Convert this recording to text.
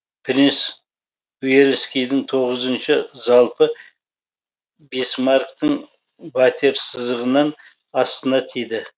принц уэльскийдін тоғызыншы залпы бисмарктін ватерсызығынын астына тиді